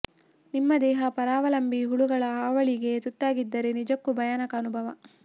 ನಿಮ್ಮ ದೇಹ ಪರಾವಲಂಬಿ ಹುಳುಗಳ ಹಾವಳಿಗೆ ತುತ್ತಾಗಿದ್ದರೆ ನಿಜಕ್ಕೂ ಭಯಾನಕ ಅನುಭವ